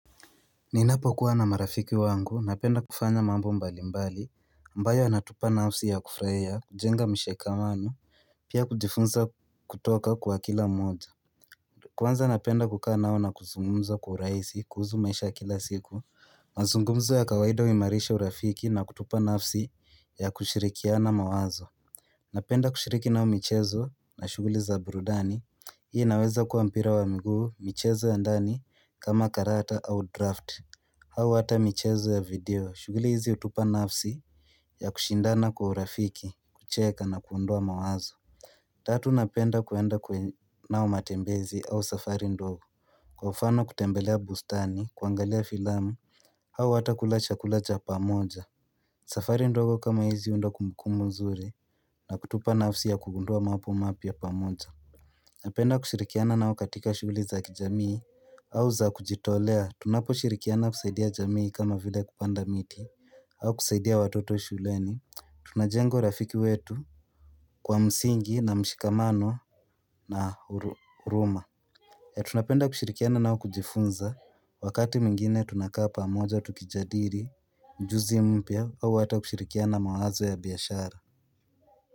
Ninapo kuwa na marafiki wangu, napenda kufanya mambo mbali mbali, ambayo yanatupa nafsi ya kufurahia, kujenga mshikamano, pia kujifunza kutoka kwa kila mmoja. Kwanza napenda kukaa nao na kuzungumza kwa uraisi, kuhusu maisha ya kila siku, mazungumzo ya kawaida huimarisha urafiki na kutupa nafsi ya kushirikiana mawazo. Napenda kushiriki nao michezo na shughuli za burudani, hii inaweza kuwa mpira wa mguu michezo ya ndani kama karata au draft. Au hata michezo ya vidio, shughuli hizi hutupa nafsi ya kushindana kwa urafiki, kucheka na kuondoa mawazo Tatu napenda kuenda kwenye, nao matembezi au safari ndogo Kwa mfano kutembelea bustani, kuangalia filamu au hata kula chakula cha pamoja safari ndogo kama hizi hunda kumbukumu nzuri na kutupa nafsi ya kugundua mambo mapya pamoja Napenda kushirikiana nao katika shughuli za kijamii au za kujitolea tunapo shirikiana kusaidia jamii kama vile kupanda miti au kusaidia watoto shuleni tunajenga urafiki wetu kwa msingi na mshikamano na huruma Tunapenda kushirikiana nao kujifunza wakati mwingine tunakaa pamoja tukijadili ujuzi mpya au hata kushirikiana mawazo ya biashara.